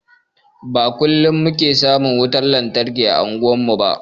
Ba kullum muke samun wutar lantarki ã unguwar mu ba.